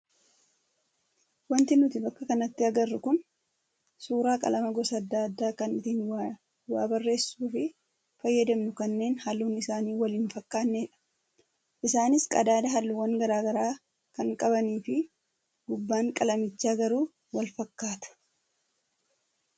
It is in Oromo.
Wanti nuti bakka kanatti agarru kun suuraa qalama gosa adda addaa kan ittiin waa barreessuuf fayyadamnu kanneen halluun isaanii wal hin fakkaannedha. Isaanis qadaada halluuwwan garaagaraa kan qabanii fi gubbaan qalamichaa garuu wal fakkaata.